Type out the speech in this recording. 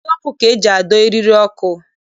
Ide ọkụ ka eji adọ eriri ọkụ